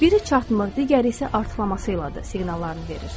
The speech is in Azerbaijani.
Biri çatmır, digəri isə artırması ilədir siqnallarını verir.